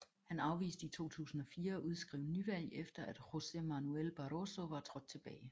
Han afviste i 2004 at udskrive nyvalg efter at José Manuel Barroso var trådt tilbage